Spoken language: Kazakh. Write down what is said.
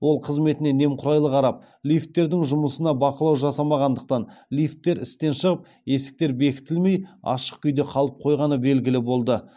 ол қызметіне немқұрайлы қарап лифттердің жұмысына бақылау жасамағандықтан лифттер істен шығып есіктері бекітілмей ашық күйде қалып қойғаны белгілі болды